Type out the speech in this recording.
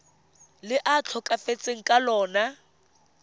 le a tlhokafetseng ka lona